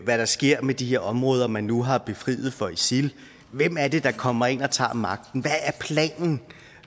hvad der sker med de her områder man nu har befriet for isil hvem er det der kommer ind og tager magten